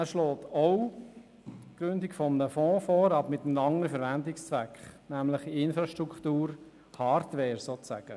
Auch er schlägt die Gründung eines Fonds vor, aber mit einem anderen Verwendungszweck, nämlich für Infrastruktur, Hardware sozusagen.